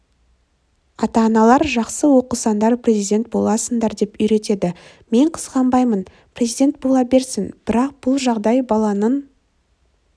ата-аналар жақсы оқысандар президент боласыңдар деп үйретеді мен қызғанбаймын президент бола берсін бірақ бұл жағдай баланың